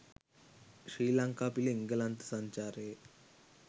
ශ්‍රී ලංකා පිල එංගලන්ත සංචාරයේ